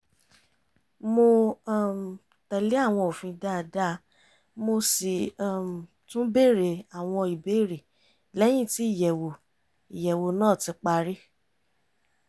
mo um tẹ̀lé àwọn òfin dáadáa mo sì um tún bèrè àwọn ìbéèrè lẹ́yìn tí ìyẹ̀wò ìyẹ̀wò náà ti parí